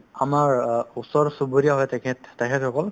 আমাৰ অ ওচৰ-চুবুৰীয়া হয় তেখেত তেখেতসকল